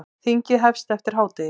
Þingið hefst eftir hádegi.